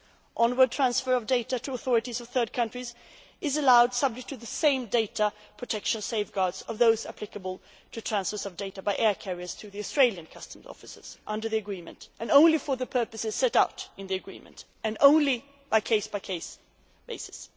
Onward transfer of data to authorities of third countries is allowed, subject to the same data protection safeguards as those applicable to transfers of data by air carriers to Australian customs services under the agreement, only for the purposes set out in the agreement and only on a case by case basis.